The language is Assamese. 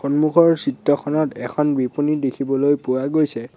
সন্মুখৰ চিত্ৰখনত এখন বিপণী দেখিবলৈ পৱা গৈছে।